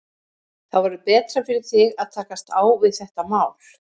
Þá verður betra fyrir þig að takast á við þetta mál.